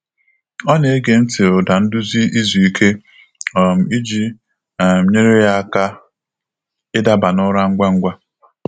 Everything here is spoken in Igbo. Ọ na-ege nti ụda nduzi izuike um iji um nyere ya aka idaba n’ụra ngwa ngwa.